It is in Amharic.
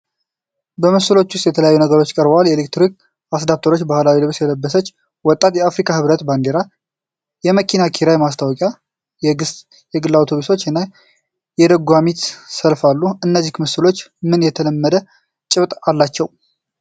በምስሎቹ ውስጥ የተለያዩ ነገሮች ቀርበዋል። የኤሌክትሪክ አስዳፕተሮች፣ ባህላዊ ልብስ የለበሰች ወጣት፣ የአፍሪካ ህብረት ባንዲራ፣ የመኪና ኪራይ ማስታወቂያ፣ የየግና አውቶቡሶች እና የደጓሚት ሰልፍ አሉ። እነዚህ ምስሎች ምን የተለመደ ጭብጥ አላቸው?